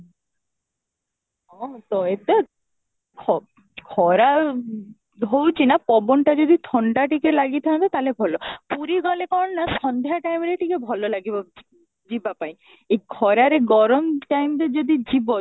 ହଁ, ତ ଏତେ ଖରା ହଉଛି ନା ପବନଟା ଯଦି ଥଣ୍ଡା ଟିକେ ଲାଗି ଥାଆନ୍ତା ତାହେଲେ ଭଲ ପୁରୀ ଗଲେ କ'ଣ ନା ସନ୍ଧ୍ୟା time ରେ ଟିକେ ଭଲ ଲାଗିବ ଯିବ ପାଇଁ ଏ ଖରାରେ ଗରମ time ରେ ଯଦି ଯିବ